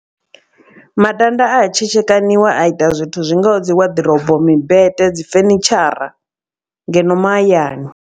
Matanda a tshetshekaniwa a ita zwithu zwi ngaho dzi waḓirobo mimbete dzifenitshara ngeno mahayani.